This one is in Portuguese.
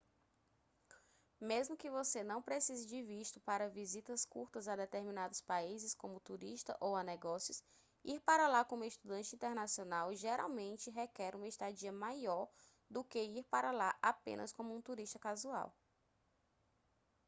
mesmo que você não precise de visto para visitas curtas a determinados países como turista ou a negócios ir para lá como estudante internacional geralmente requer uma estadia maior do que ir para lá apenas como um turista casual